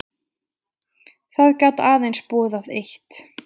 Það gat aðeins boðað eitt.